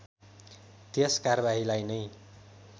त्यस कारबाहीलाई नै